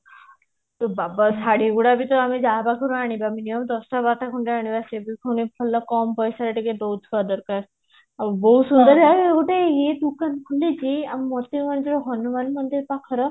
ଏ ବାବା ଶାଢୀ ଗୁଡାକ ବି ତ ଆମେ ଯାହା ପାଖରୁ ଆଣିବା minimum ଦଶ ବାରଟା ଖଣ୍ଡେ ଆଣିବା ସେ ବି କଣ ଭଲ କମ ପଇସା ରେ ଟିକେ ଦଉଥିବା ଦରକାର ଆମର ହନୁମାନ ମନ୍ଦିର ପାଖର